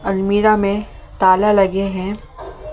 अलमीरा में ताला लगे हैं ।